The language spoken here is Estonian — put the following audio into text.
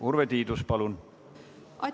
Urve Tiidus, palun!